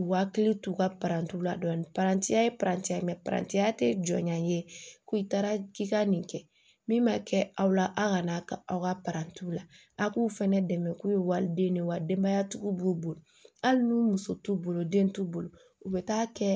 U ka hakili t'u ka parantiw la dɔɔnin parantiya ye paranti ye mɛrantiya tɛ jɔnya ye ko i taara k'i ka nin kɛ min ma kɛ aw la a ka n'a ka aw ka parantiw la a k'u fana dɛmɛ k'u ye waliden de ye wa denbayatigiw b'u bolo hali n'u muso t'u bolo den t'u bolo u bɛ taa kɛ